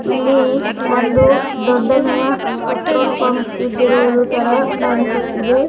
ಈ ಒಂದು ದೊಡ್ಡನೆಯ ಪೆಟ್ರೋಲ್ ಪಂಪ್ ಇದ್ದಿರುವೂದು ತರ ಕಾಣಿಸ್ತಾ ಇದೆ.